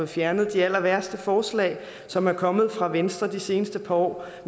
fjernet de allerværste forslag som er kommet fra venstre de seneste par år